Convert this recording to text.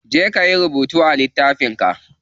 Je kayi rubutu a littafin ka.